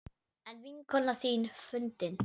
Er vinkona þín fundin?